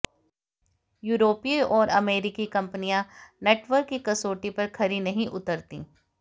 यूरोपीय और अमेरिकी कंपनियां नेटवर्क की कसौटी पर खरी नहीं उतरतीं